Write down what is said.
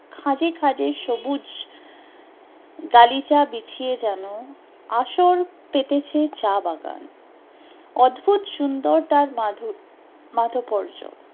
খাদে খাদে সবুজ গালিচা বিছিয়ে যেন আসন পেতেছে চা বাগান, অদ্ভুত সুন্দর তার মাধু র মাধুপর্য